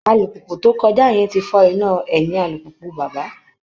Alùpùpù tó kọjá yẹn ti fọ́ iná ẹ̀yìn alùpùpù bàbá